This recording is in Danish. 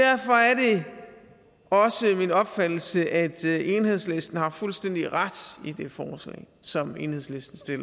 også min opfattelse at enhedslisten har fuldstændig ret i det forslag som enhedslisten